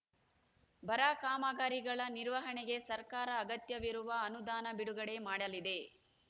ಬರ ಕಾಮಗಾರಿಗಳ ನಿರ್ವಹಣೆಗೆ ಸರ್ಕಾರ ಅಗತ್ಯವಿರುವ ಅನುದಾನ ಬಿಡುಗಡೆ ಮಾಡಲಿದೆ